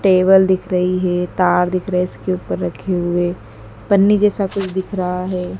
Table दिख रही हैं तार दिख रहे है इसके ऊपर रखे हुए पन्नी जैसा कुछ दिख रहा हैं।